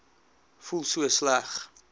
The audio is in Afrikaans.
voel so sleg